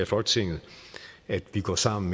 folketinget at vi går sammen